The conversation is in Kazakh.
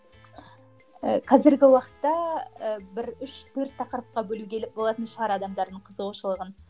ііі қазіргі уақытта і бір үш төрт тақырыпқа бөлуге болатын шығар адамдардың қызығушылығын